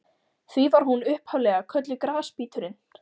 Því var hún upphaf-lega kölluð Grasbíturinn.